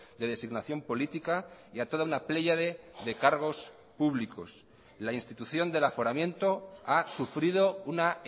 de designación política y a toda una pléyade de cargos públicos la institución del aforamiento ha sufrido una